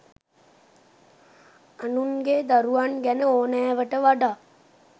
අනුන්ගේ දරුවන් ගැන ඕනෑවට වඩා